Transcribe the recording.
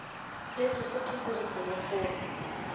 le sesotho se re pelokgolo